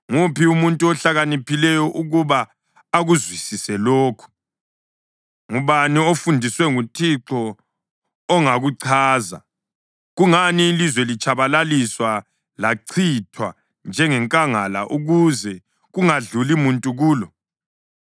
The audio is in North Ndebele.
Nguphi umuntu ohlakaniphileyo ukuba akuzwisise lokhu? Ngubani ofundiswe nguThixo ongakuchaza? Kungani ilizwe litshabalalisiwe lachithwa njengenkangala ukuze kungadluli muntu kulo?